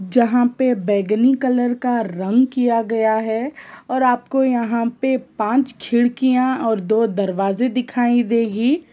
जहाँ पे बैंगनी कलर का रंग किया गया है और आपको यहाँ पे पाँच खिड़किया और दो दरवाजे दिखाई देगी।